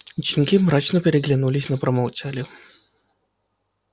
ученики мрачно переглянулись но промолчали